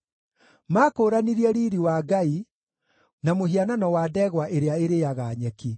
Maakũũranirie Riiri wa Ngai na mũhianano wa ndegwa ĩrĩa ĩrĩĩaga nyeki.